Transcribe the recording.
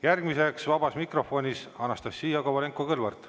Järgmine vabas mikrofonis on Anastassia Kovalenko-Kõlvart.